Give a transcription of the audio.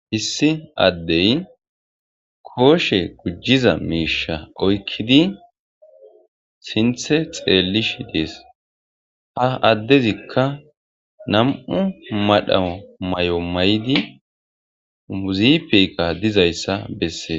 Hissi addey kooshe gujjiza miisha oykkidi sinthe xeellish dees ha addezikka nam7u madha may7o may7di muzipika dizayssa bessee